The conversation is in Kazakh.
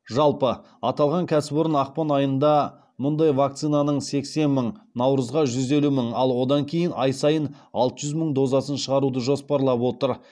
жалпы аталған кәсіпорын ақпан айында мұндай вакцинаның сексен мың наурызға жүз елу мың ал одан кейін ай сайын алты жүз мың дозасын шығаруды жоспарлап отыр